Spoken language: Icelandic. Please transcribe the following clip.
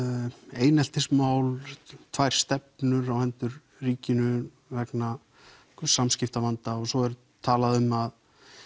eineltismál tvær stefnur á hendur ríkinu vegna samskiptavanda og svo er talað um að